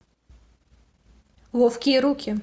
ловкие руки